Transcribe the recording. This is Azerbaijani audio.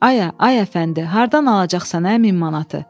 Ayə, ay Əfəndi, hardan alacaqsan ə 1000 manatı?